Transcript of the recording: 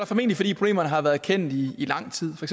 formentlig fordi problemerne har været kendt i lang tid for